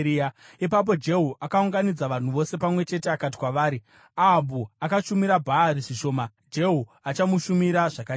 Ipapo Jehu akaunganidza vanhu vose pamwe chete akati kwavari, “Ahabhu akashumira Bhaari zvishoma; Jehu achamushumira zvakanyanya.